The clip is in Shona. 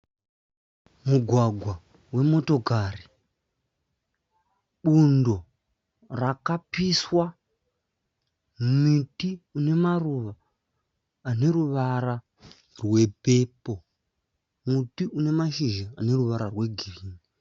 Mugwagwa wemotokari. Bundo rakapiswa. Miti ine maruva ane ruvara rwepepo. Muti une mashizha ane ruvara rwegirini.